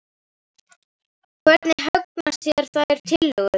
Hvernig hugnast þér þær tillögur?